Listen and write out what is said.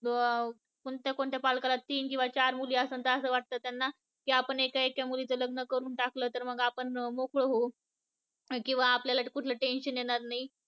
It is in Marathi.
अं कोणत्या कोणत्या पालकाला तीन किंवा चार मुली आसन तर अस वाटत त्यांना की आपण एका एका मुलीचं लग्न करून टाकलं तर मग आपण मोकळं होऊ किंवा आपल्याला कुठल tension येणार नाही